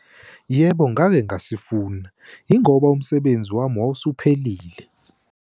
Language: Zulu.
Yebo, ngake ngasifuna, yingoba umsebenzi wami wawusuphelile.